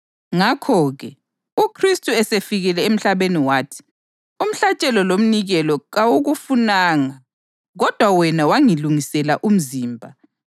Ngakho-ke, uKhristu esefikile emhlabeni wathi: “Umhlatshelo lomnikelo kawukufunanga, kodwa wena wangilungisela umzimba;